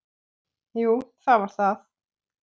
Jú, það var það.